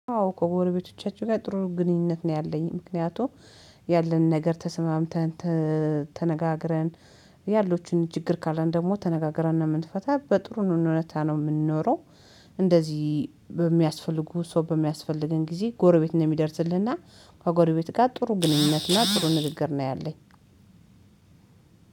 አዎ እኮ ጎረቤቶቻችን ጋር ጥሩ ግንኙነት ነው ያለኝ ምክንያቱም ያለንን ነገር ተስማምተን ተነጋግረን ያሉትን እጅግ እግር ካለን ደግሞ ተነጋግረን ነው የምንፈታው በጥሩ ሁኔታ ነው የምንኖረው። እንደዚህ በሚያስፈልጉ ሰው በሚያስፈልገን ጊዜ ጎረቤት ነው የሚደርስልህ እና ከጎረቤት ጋር ጥሩ ግንኙነትና እና ጥሩ ንግግር ነው ያለኝ።